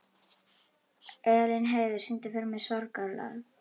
Elínheiður, syngdu fyrir mig „Sorgarlag“.